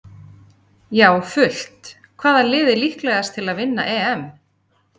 Já fullt Hvaða lið er líklegast til að vinna EM?